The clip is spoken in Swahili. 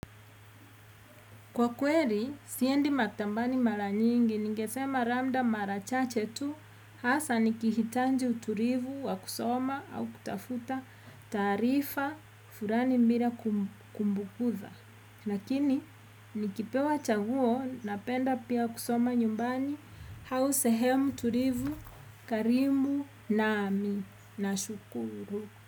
Kwa kweri, siendi matambani mara nyingi, ningesema ramda mara chache tu hasa nikihitanji uturivu wa kusoma au kutafuta tarifa furani mbira kumbukuza. Lakini, nikipewa chaguo napenda pia kusoma nyumbani hau sehemu turivu karimu nami nashukuru.